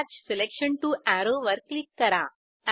अत्तच selection to arrow वर click करा